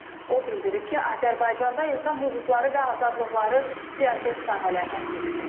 O bildirib ki, Azərbaycanda insan hüquqları və azadlıqları prioritet sahələrdən biridir.